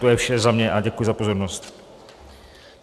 To je za mě vše a děkuji za pozornost.